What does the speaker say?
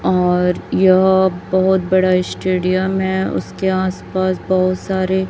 और यह बहुत बड़ा स्टेडियम हैं उसके आसपास बहुत सारे--